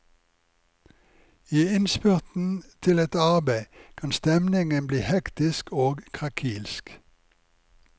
I innspurten til et arbeid kan stemningen bli hektisk og krakilsk.